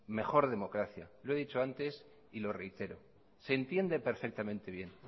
mejor democracia lo he dicho antes y lo reitero se entiende perfectamente bien